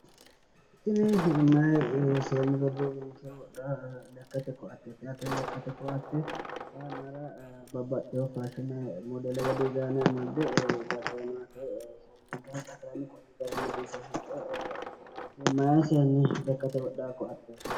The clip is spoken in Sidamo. Tini meyaa seenni roduuwinke wodhaa lekkate koatteeti yaate. Lekkate koatte xaa yannnara babbaxxewo faashine modele woyi dizaayine amadde... Meyaa seenni lekate wodhawo koatteeti.